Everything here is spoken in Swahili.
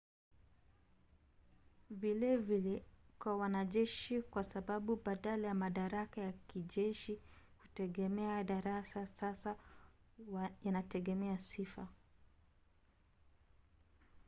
vilevile kwa wanajeshi kwa sababu badala ya madaraka ya kijeshi kutegemea darasa sasa yanategemea sifa